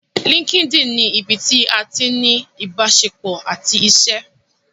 Linkedin ni ibí tí a ti ní ni ìbáṣepọ̀ àti iṣé.